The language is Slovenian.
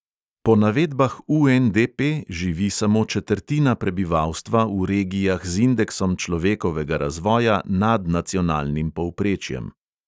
Po navedbah UNDP živi samo četrtina prebivalstva v regijah z indeksom človekovega razvoja nad nacionalnim povprečjem.